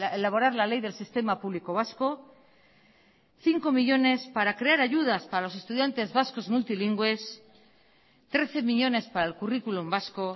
elaborar la ley del sistema público vasco cinco millónes para crear ayudas para los estudiantes vascos multilingües trece millónes para el currículum vasco